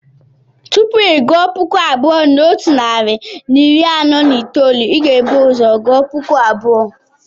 Tupu ị gụọ puku abụọ na otu narị na iri anọ na itoolu, ị ga-ebu ụzọ gụọ puku abụọ.